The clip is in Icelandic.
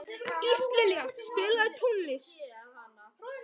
Íslilja, spilaðu tónlist.